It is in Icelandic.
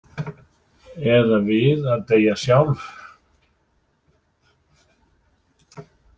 Eða við að deyja sjálf?